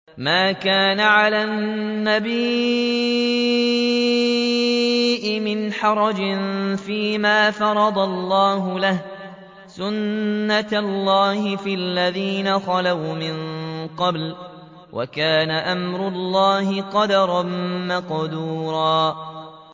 مَّا كَانَ عَلَى النَّبِيِّ مِنْ حَرَجٍ فِيمَا فَرَضَ اللَّهُ لَهُ ۖ سُنَّةَ اللَّهِ فِي الَّذِينَ خَلَوْا مِن قَبْلُ ۚ وَكَانَ أَمْرُ اللَّهِ قَدَرًا مَّقْدُورًا